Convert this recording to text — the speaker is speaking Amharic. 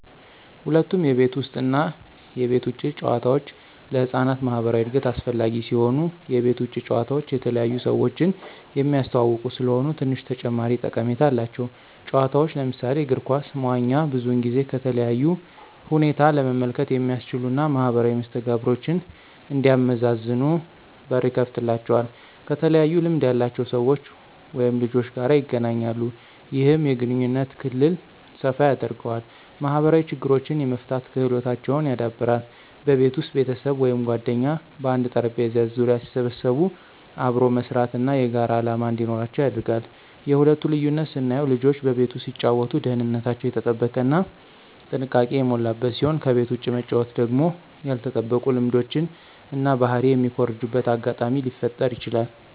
ሁለቱም የቤት ውስጥ እና የቤት ውጭ ጨዋታዎች ለህፃናት ማኅበራዊ እድገት አስፈላጊ ሲሆኑ፣ የቤት ውጭ ጨዋታ የተለያዩ ሰዎችን የሚያስተዋውቁ ስለሆኑ ትንሽ ተጨማሪ ጠቀሜታ አላቸው። ጨዋታዎች ለምሳሌ እግር ኳስ፣ መዋኛ ብዙውን ጊዜ ከተለያዩ ሁኔታ ለመመልከት የሚያስችሉ እና ማኅበራዊ መስተጋብሮችን እንዲያመዛዝኑ በር ይከፍትላቸዋል። ከተለያዩ ልምድ ያላቸው ሰዎች/ልጆች ጋር ይገናኛሉ። ይህም የግንኙነት ክልል ሰፋ ያደርገዋል። ማኅበራዊ ችግሮችን የመፍታት ክህሎታቸውን ያዳብራል። በቤት ውስጥ ቤተሰብ ወይም ጓደኞች በአንድ ጠረጴዛ ዙሪያ ሲሰበሰቡ አብሮ መስራት እና የጋራ ዓላማ እንዲኖራቸው ያደርጋል። የሁለቱ ልዩነት ስናየው ልጆች በቤት ውስጥ ሲጫወቱ ደህንነታቸው የተጠበቀ እና ጥንቃቄ የሞላበት ሲሆን ከቤት ውጭ መጫወቱ ደግሞ ያልተጠበቁ ልምዶችን እና ባህሪ የሚኮርጁበት አጋጣሚ ሊፈጠረ ይችላል።